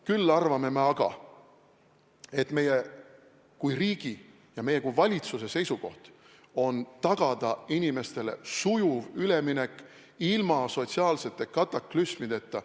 Küll aga me arvame, et meie kui riigi ja meie kui valitsuse kohus on tagada inimestele sujuv üleminek ilma sotsiaalsete kataklüsmideta.